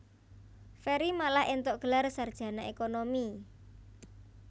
Ferry malah éntuk gelar sarjana ékonomi